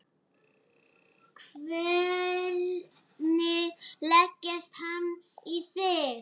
Hvernig leggst hann í þig?